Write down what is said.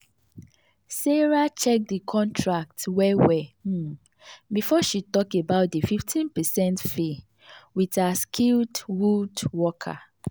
sarah check the contract well well um before she talk about the 15 percent fee with her skilled woodworker.